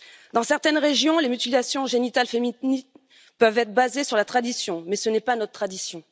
Dans certaines régions, les mutilations génitales féminines peuvent être basées sur la tradition, mais ce n'est pas notre tradition.